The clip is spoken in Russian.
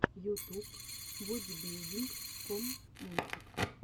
ютуб бодибилдинг ком мультик